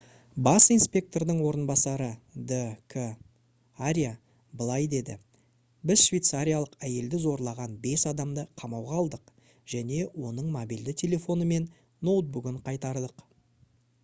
бас инспектордың орынбасары д. к. аря былай деді: «біз швейцариялық әйелді зорлаған бес адамды қамауға алдық және оның мобильді телефоны мен ноутбугын қайтардық»